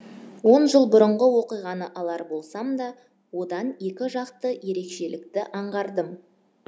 он жыл бұрынғы оқиғаны алар болсам да одан екі жақты ерекшелікті аңғардым